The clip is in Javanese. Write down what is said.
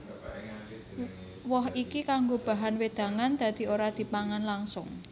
Woh iki kanggo bahan wédangan dadi ora dipangan langsung